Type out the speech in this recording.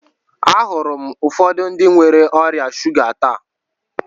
Ahụrụ m ụfọdụ ndị nwere ọrịa shuga taa.